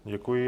Děkuji.